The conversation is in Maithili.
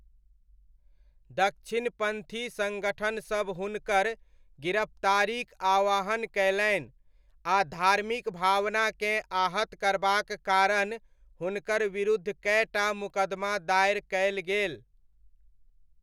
दक्षिणपन्थी सङ्गठनसब हुनकर गिरफ्तारीक आह्वान कयलनि, आ धार्मिक भावनाकेँ आहत करबाक कारण हुनकर विरुद्ध कए टा मुकदमा दायर कयल गेल।